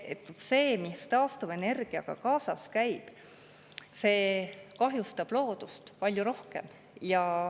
See, mis taastuvenergiaga kaasas käib, kahjustab loodust palju rohkem.